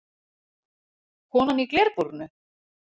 Konan í glerbúrinu?